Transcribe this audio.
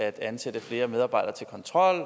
at ansætte flere medarbejdere til kontrol